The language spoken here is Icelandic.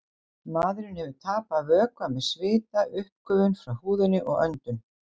Maðurinn hefur tapað vökva með svita, uppgufun frá húðinni og öndun.